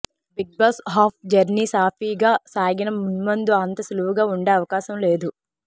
Bigg Boss half journey సాఫీగా సాగినా మున్ముందు అంత సులువుగా ఉండే అవకాశం లేదు